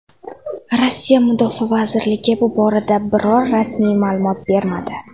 Rossiya mudofaa vazirligi bu borada biror rasmiy ma’lumot bermadi.